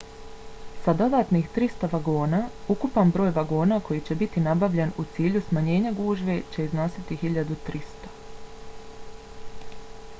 sa dodatnih 300 vagona ukupan broj vagona koji će biti nabavljen u cilju smanjenja gužve će iznositi 1.300